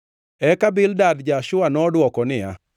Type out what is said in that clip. Eka Bildad ja-Shua nodwoko niya: